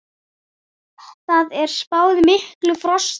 Þar er spáð miklu frosti.